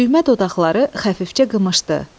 Düymə dodaqları xəfifcə qımışdı.